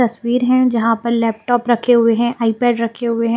तस्वीर है जहां पर लैपटॉप रखे हुए हैं आईपैड रखे हुए हैं।